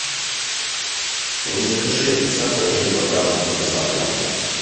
закажи сахар один килограмм с доставкой на дом